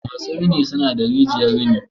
masu rini suna da rijiyar rini.